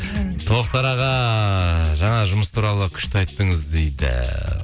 тоқтар аға жаңа жұмыс туралы күшті айттыңыз дейді